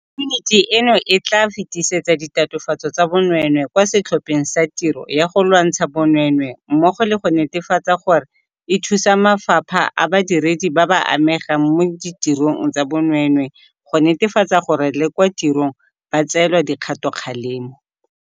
Yuniti eno e tla fetisetsa ditatofatso tsa bonweenwee kwa Setlhopheng sa Tiro ya go Lwantsha Bonweenwee mmogo le go netefatsa gore e thusa mafapha a badiredi ba ba amegang mo ditirong tsa bonweenwee go netefatsa gore le kwa tirong ba tseelwa dikgatokgalemo.